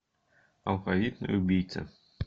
алфавитный убийца